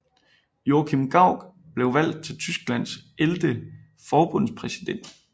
Joachim Gauck blev valgt til Tysklands ellevte forbundspræsident